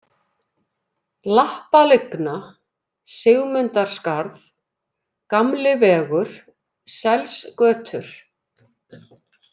Lappalygna, Sigmundarskarð, Gamli vegur, Selsgötur